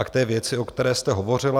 A k té věci, o které jste hovořila.